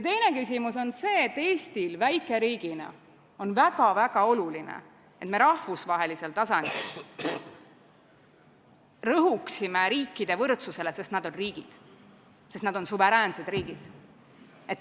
Teine küsimus on see, et Eestil väikeriigina on väga-väga oluline, et me rõhuksime rahvusvahelisel tasandil riikide võrdusele, sest need on suveräänsed riigid.